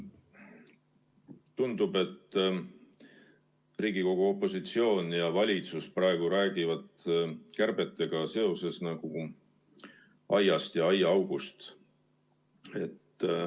Tundub, et Riigikogu opositsioon ja valitsus räägivad praegu kärbetega seoses üks aiast ja teine aiaaugust.